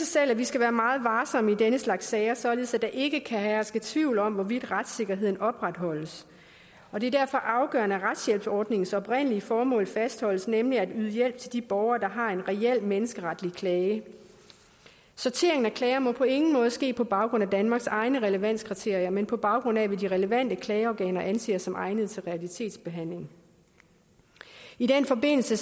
selv at vi skal være meget varsomme i den slags sager således at der ikke kan herske tvivl om hvorvidt retssikkerheden opretholdes det er derfor afgørende at retshjælpsforordningens oprindelige formål fastholdes nemlig at yde hjælp til de borgere der har en reel menneskeretlig klage sorteringen af klager må på ingen måde ske på baggrund af danmarks egne relevanskriterier men på baggrund af hvad de relevante klageorganer anser som egnet til realitetsbehandling i den forbindelse